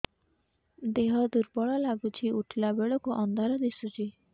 ଦେହ ଦୁର୍ବଳ ଲାଗୁଛି ଉଠିଲା ବେଳକୁ ଅନ୍ଧାର ଦିଶୁଚି